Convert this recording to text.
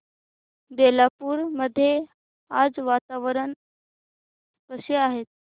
बेलापुर मध्ये आज वातावरण कसे आहे